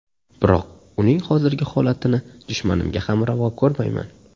Biroq uning hozirgi holatini dushmanimga ham ravo ko‘rmayman.